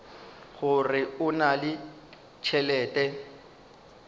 gore o na le tšhelete